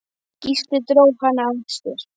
Gísli dró hana að sér.